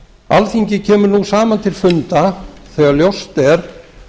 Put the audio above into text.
alþingi kemur nú saman til funda þegar ljóst er